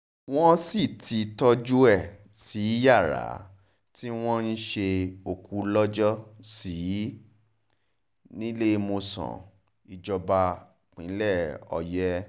wọ́n sì ti tọ́jú ẹ̀ sí yàrá tí wọ́n ń ṣe òkú lọ́jọ́ sí níléemọ̀sán ìjọba pínlẹ̀ òye